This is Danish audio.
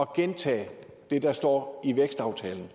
gentage det der står i vækstaftalen